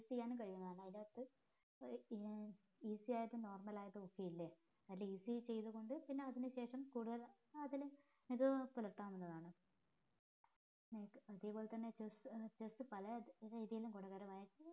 ചെയ്യാനും കയ്യുന്നതാണ് അതിനകത്ത് ഒര് ഏർ easy ആയിട്ടും normal ആയിട്ടും ഒക്കെ ഇല്ലേ അതില് easy ചെയ്ത് കൊണ്ട് പിന്നെ അതിന് ശേഷം കൂടുതൽ അതില് ഇത് പുല്ലാതാവുന്നതാണ് അതേപോലെ തന്നെ chess chess പല രീതീല് ഗുണകരമായി